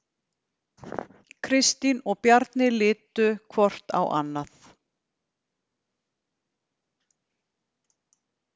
Kristín og Bjarni litu hvort á annað.